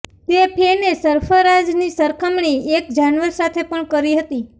તે ફેને સરફરાઝની સરખામણી એક જાનવર સાથે પણ કરી હતી